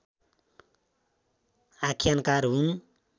आख्यानकार हुन्